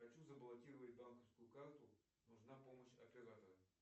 хочу заблокировать банковскую карту нужна помощь оператора